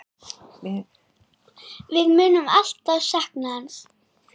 Við munum alltaf sakna hans.